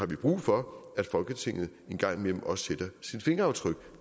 vi brug for at folketinget en gang imellem også sætter sit fingeraftryk